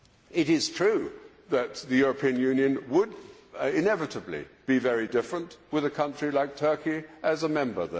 It is true that the European Union would inevitably be very different with a country like Turkey as a member.